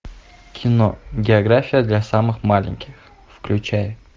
кино география для самых маленьких включай